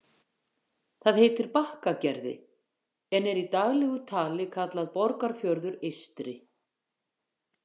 Það heitir Bakkagerði, en er í daglegu tali kallað Borgarfjörður eystri.